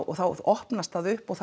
og þá opnast það upp og